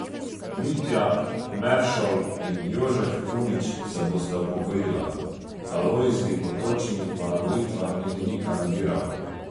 Mitja Meršol in Jožef Kunič se bosta upokojila, Alojzij Potočnik pa na volitvah niti ni kandidiral.